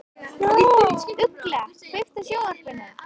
Ugla, kveiktu á sjónvarpinu.